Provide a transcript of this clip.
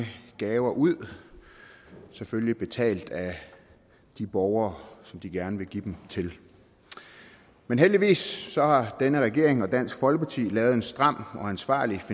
gaver ud selvfølgelig betalt af de borgere som de gerne vil give dem til men heldigvis har denne regering og dansk folkeparti lavet et stramt og ansvarligt